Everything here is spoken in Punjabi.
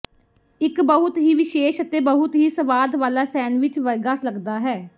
ਇੱਕ ਬਹੁਤ ਹੀ ਵਿਸ਼ੇਸ਼ ਅਤੇ ਬਹੁਤ ਹੀ ਸਵਾਦ ਵਾਲਾ ਸੈਨਵਿਚ ਵਰਗਾ ਲਗਦਾ ਹੈ